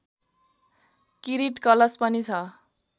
किरीट कलश पनि छ